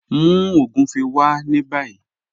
Mú ogúnfẹ̀ wá ní bàyì